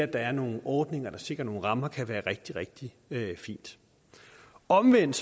der er nogle ordninger der sikrer nogle rammer kan være rigtig rigtig fint omvendt